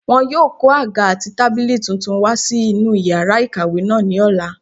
Wọn yóò kó àga àti tábìlì tuntun wá sí inú yàrá ìkàwé náà ní ọ̀la